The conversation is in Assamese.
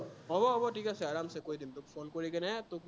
হব হব ঠিক আছে, আৰমাচে কৈ দিম তোক phone কৰি কিনে তোক